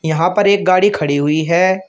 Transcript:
यहां पर एक गाड़ी खड़ी हुई है।